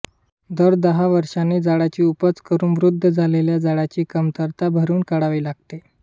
दर दहा वर्षांनी झाडाची उपज करून वृद्ध झालेल्या झाडाची कमतरता भरून काढावी लागते